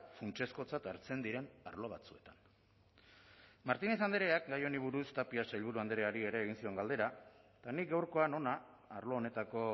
funtsezkotzat hartzen diren arlo batzuetan martinez andreak gai honi buruz tapia sailburu andreari ere egin zion galdera eta nik gaurkoan hona arlo honetako